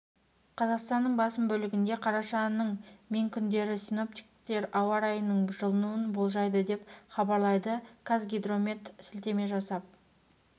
қазақстанның басым бөлігінде қарашаның мен күндері синоптиктер ауа райының жылынуын болжайды деп хабарлайды қазгидромет сілтеме жасап